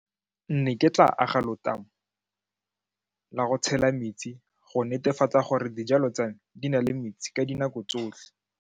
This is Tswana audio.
Nne ke tla aga letamo la go tshela metsi go netefatsa gore dijalo tsa me di na le metsi ka dinako tsotlhe.